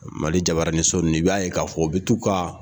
Mali jabaaraniso nin i b'a ye k'a fɔ u bɛ t'u ka